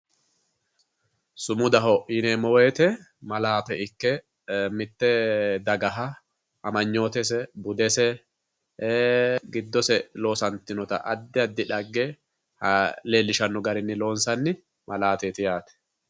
Sumudaho yineemmo woyiite malaate ikke mitte dagaha amanyootese budese giddose loosantinota addi addi dhagge leellishanno garinni loonsanni mlaateeti yaate.